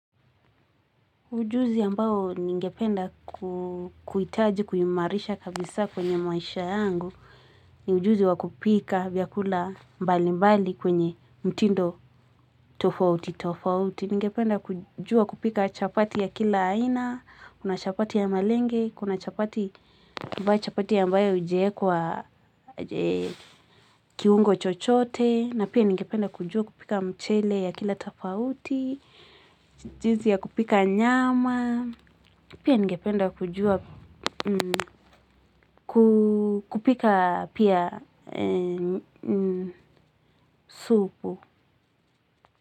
Ujuzi ambao ningependa kuitaji kuimarisha kabisa kwenye maisha yangu ni ujuzi wa kupika vyakula mbali mbali kwenye mtindo tofauti tofauti ningependa kujua kupika chapati ya kila aina, kuna chapati ya malenge, kuna chapati ambao chapati ambayo hujiekwa kiungo chochote na pia ningependa kujua kupika mchele ya kila tofauti. Jinsi ya kupika nyama, pia ningependa kujua kupika pia supu.